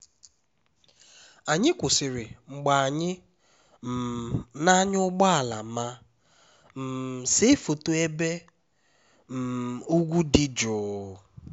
anyị kwụsịrị mgbe anyị um na-anya ụgbọ ala ma um see foto n'ebe um ugwu dị jụụ